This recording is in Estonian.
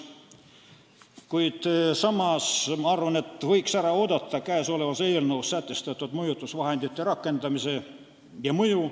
Mina arvan, et võiks ära oodata, milline on käesolevas eelnõus sätestatud mõjutusvahendite rakendamise mõju.